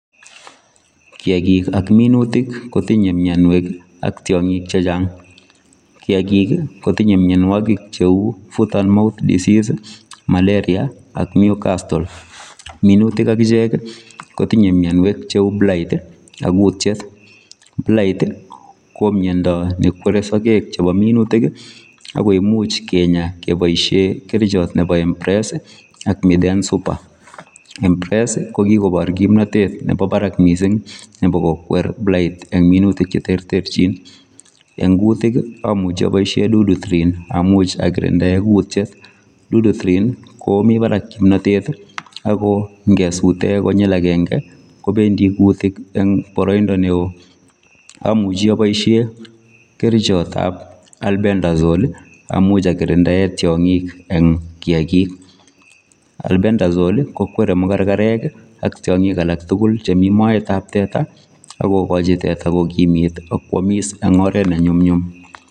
Kiakik ak minutik kotinye mienwek ak tiong'ik chechang. Kiakik kotinye mienwokik cheu foot and mouth disease, malaria ak newcastle. Minutik akichek kotinye mienwek cheu blight, ak kutyet. Blight ko miendo nekwere sogek chepo minutik ako imuch kenya kepoishe kerichot nepo Empress ak Miden super. Empress ko kikopor komnotet nepo barak mising nepo kokwer blight eng minutik cheterterchin. Eng minutik amuchi apoishe Dudu trin akirindae kutyet. Dudu trin komi barak kimnotet ako nkesute konyil akenke kopendi kutik eng boroindo neo. Amuchi aboishe kerichotap Albendazol amuch akirindae tiong'ik eng kiakik. Albendazol kokwere mukarkarek ak tiong'ik alak tugul chemi moetap kiakik, akokochi teta kokimit akwomis eng oret nenyumnyum.